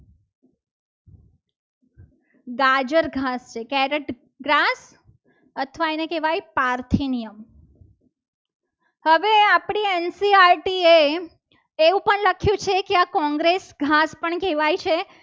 ગાજર ઘાસ છે carrot ઘાસ અથવા એને કહેવાય પારકી નિયમ હવે આપણી ncert એ એવું પણ લખ્યું છે. કે આ કોંગ્રેસ ગાત પણ કહેવાય છે.